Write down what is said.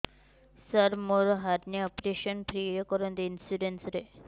ସାର ମୋର hernia operation free ରେ କରନ୍ତୁ ଇନ୍ସୁରେନ୍ସ ରେ